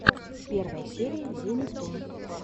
первая серия зе нептун